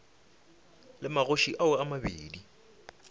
le magoši ao a mabedi